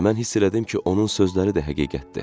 Və mən hiss elədim ki, onun sözləri də həqiqətdir.